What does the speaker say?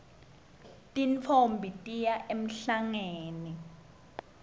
tintfombi tiya emhlangeni